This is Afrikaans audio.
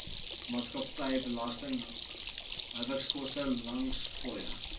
maatskappybelasting hawekoste landingsfooie